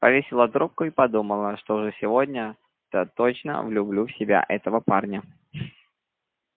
повесила трубку и подумала что уж сегодня-то точно влюблю в себя этого парня